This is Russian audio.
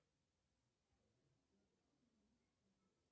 афина переведи брату на карту рубль